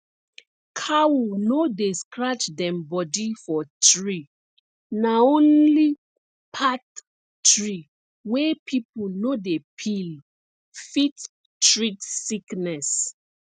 cow no dey scratch dem body for tree na only path tree wey people no dey peel fit treat sickness